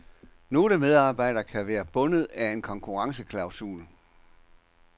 Nogle medarbejdere kan være bundet af en konkurrenceklausul.